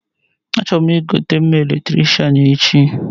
Achọrọ m igote mma Eletricịanechi